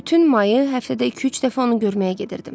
Bütün mayı həftədə iki-üç dəfə onu görməyə gedirdim.